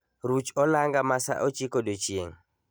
Ruch olanga masa ochiko odiechieng'